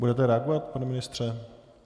Budete reagovat, pane ministře?